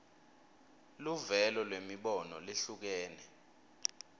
luvelo lwemibono lehlukene